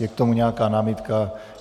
Je k tomu nějaká námitka?